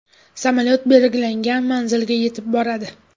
Samolyot belgilangan manzilga yetib boradi.